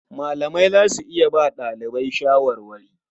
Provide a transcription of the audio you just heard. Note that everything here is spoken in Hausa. Malamai za su iya ba ɗalibai shawarwari.